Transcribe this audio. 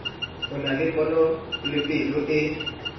o na le ponelopele o